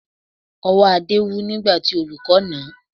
Ọwọ́ Adé wú nígbà tí olùkọ́ nà án